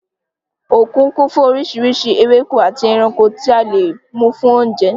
Òkun kún fún oríṣiríṣi ewéko àti ẹranko tí a lè mú fún oúnjẹ.